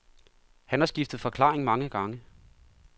Han har skiftet forklaring mange gange.